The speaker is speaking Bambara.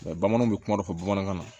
bamananw bɛ kuma dɔ fɔ bamanankan na